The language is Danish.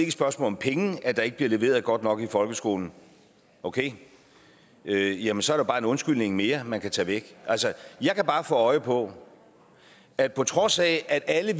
et spørgsmål om penge at der ikke bliver leveret godt nok i folkeskolen okay jamen så er der bare en undskyldning mere man kan tage væk jeg kan bare få øje på at på trods af alle